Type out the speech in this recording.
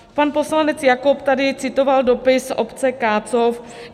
Pan poslanec Jakob tady citoval dopis obce Kácov.